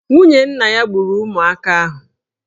Nwunye nna ya gburu ụmụaka ahụ.